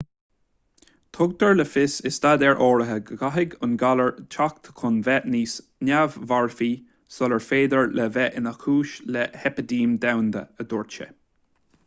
tugtar le fios i staidéir áirithe go gcaithfidh an galar teacht chun bheith níos neamh-mharfaí sular féidir leis bheith ina chúis le heipidéim dhomhanda a dúirt sé